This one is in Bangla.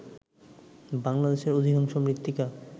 বাংলাদেশের অধিকাংশ মৃত্তিকা